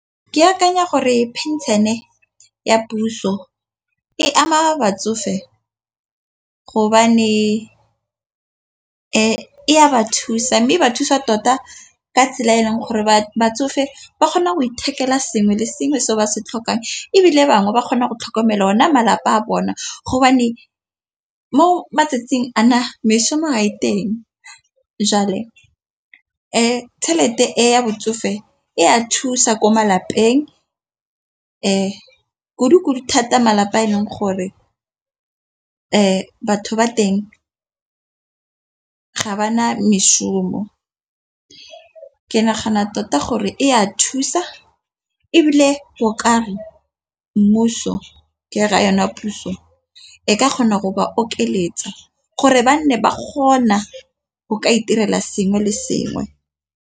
Ke akanya gore phenšene e ya puso e ama batsofe e ba thusa mme ba thusa tota ka tsela e leng gore ba batsofe ba kgona go ithekela sengwe le sengwe se ba se tlhokang, ebile bangwe ba kgona go tlhokomela ona malapa a bona mo matsatsing a na meshomo ha e teng . Tšhelete e ya botsofe e a thusa ko malapeng e kudukudu thata malapa a e leng gore batho ba teng ga ba na meshomo. Ke nagana tota gore e a thusa ebile o ka re mmuso ke ra yona puso e ka kgona go ba okeletsa gore ba nne ba kgona go ka itirela sengwe le sengwe.